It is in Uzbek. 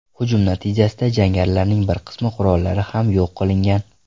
Hujum natijasida jangarilarning bir qism qurollari ham yo‘q qilingan.